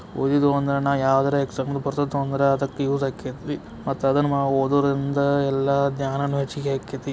ಓದಿದ್ದು ಯಾರಾನ exam purpose ತಗೊಂಡೆ ಯೂಸ್ ಆಗ್ತೈತಿ ಮತ್ತೆ ಅದನ್ನ ಓದೋದ್ರಿಂದ ಎಲ್ಲಾ ಜ್ಞಾನನು ಹೆಚ್ಚಿಗೆ ಆಗ್ತೈತಿ.